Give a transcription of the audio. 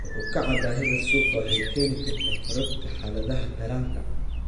Kor u kaca baahida suuqa waxay keeni kartaa korodhka xaaladaha taranta.